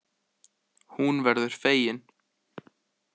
Hún verður fegin.